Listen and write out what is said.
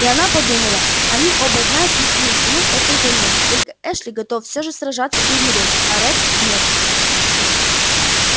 и она подумала они оба знают истинную цену этой войне только эшли готов всё же сражаться и умереть а ретт нет